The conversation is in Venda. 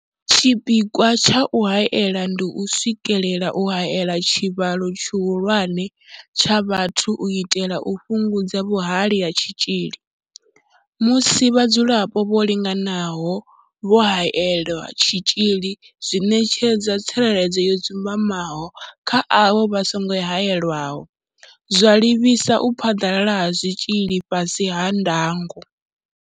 Tshipikwa tsha u haela ndi u swikelela u haela tshivhalo tshihulwane tsha vhathu u itela u fhungudza vhuhali ha tshitzhili. Musi vhadzulapo vho linganaho vho haelelwa tshitzhili zwi ṋetshedza tsireledzo yo dzumbamaho kha avho vha songo haelwaho, zwa livhisa u phaḓalala ha tshitzhili fhasi ha ndango.